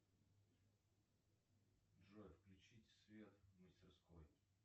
джой включить свет в мастерской